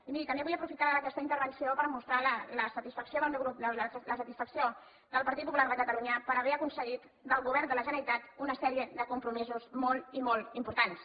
i miri també vull aprofitar aquesta intervenció per mostrar la satisfacció del meu grup la satisfacció del partit popular de catalunya per haver aconseguit del govern de la generalitat una sèrie de compromisos molt i molt importants